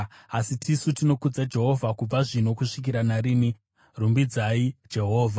asi tisu tinokudza Jehovha, kubva zvino kusvikira narini. Rumbidzai Jehovha.